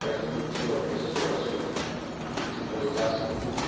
Parece que não tinha uma pessoa assim que fi que centralizasse tudo.